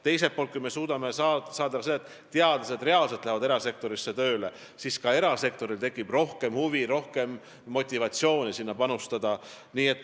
Teiselt poolt, kui me suudame saavutada, et teadlased lähevad erasektorisse tööle, siis ka erasektoril tekib rohkem huvi, rohkem motivatsiooni sellesse panustada.